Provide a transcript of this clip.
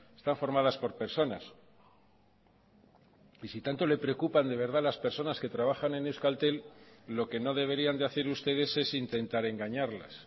están formadas por personas y si tanto le preocupan de verdad las personas que trabajan en euskaltel lo que no deberían de hacer ustedes es intentar engañarlas